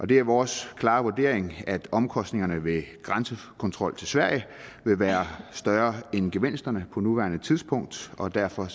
det er vores klare vurdering at omkostningerne ved grænsekontrol til sverige vil være større end gevinsterne på nuværende tidspunkt og derfor